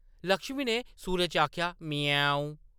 लक्ष्मी ने सुरै च आखेआ, “म्याऊं” ।